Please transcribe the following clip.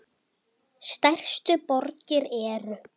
Stærstu borgir eru